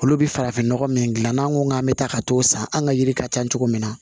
Olu bɛ farafinnɔgɔ min dilan n'an ko k'an bɛ taa ka t'o san an ka yiri ka ca cogo min na